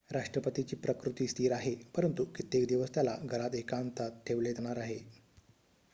राष्ट्रपतीची प्रकृती स्थिर आहे परंतु कित्येक दिवस त्याला घरात एकांतात ठेवले जाणार आहे